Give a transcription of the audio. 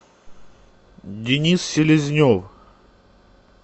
денис селезнев